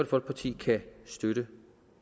folkeparti kan støtte